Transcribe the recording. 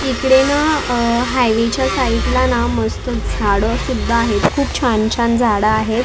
इकडे ना हायवे च्या साईड ला ना मस्त झाडं सुद्धा आहेत खूप छान-छान झाडं आहेत.